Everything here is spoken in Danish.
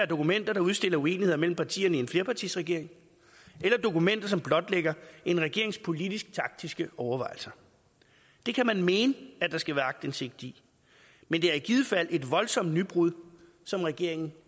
dokumenter der udstiller uenigheder mellem partierne i en flerpartiregering eller dokumenter som blotlægger en regerings politisk taktiske overvejelser det kan man mene at der skal være aktindsigt i men det er i givet fald et voldsomt nybrud som regeringen